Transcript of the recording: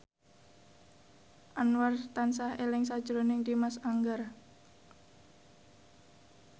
Anwar tansah eling sakjroning Dimas Anggara